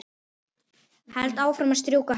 Held áfram að strjúka hönd